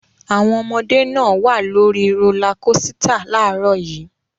Àwọn ọmọdé náà wà lórí rólá kósità láàárọ̀ yìí.